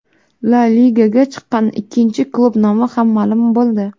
La Ligaga chiqqan ikkinchi klub nomi ham ma’lum bo‘ldi.